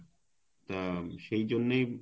উম সেইজন্যেই